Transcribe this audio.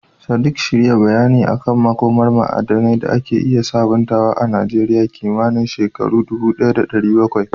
Sadiq, shirya bayani kan makomar ma'adanai da ake iya sabuntawa a Najeriya kimanin shekaru 1070.